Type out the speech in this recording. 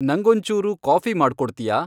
ನಂಗೊಂಚೂರು coffee ಮಾಡ್ಕೊಡ್ತ್ಯಾ